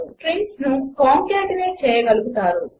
3 స్ట్రింగ్స్ను కాంకేట్నేట్ చేయగలుగుతారు